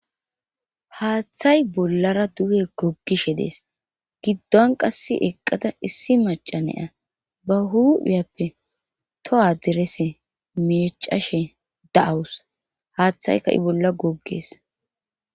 Haththay bollara duge goggishe dees giddon qass eqqada issi macanea ba huphiyappe to7a derese micashe da7awus haaththayka i bolla goggees